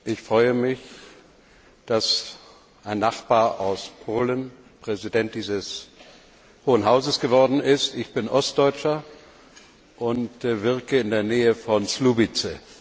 Ich freue mich, dass ein Nachbar aus Polen Präsident dieses Hohen Hauses geworden ist. Ich bin Ostdeutscher und wirke in der Nähe von Słubice.